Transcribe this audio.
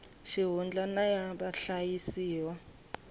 xihundla na ya vahlayisiwa va